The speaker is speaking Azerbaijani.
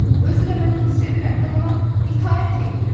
Özü də mən onu sevirəm, mən ona itaət eləyirəm.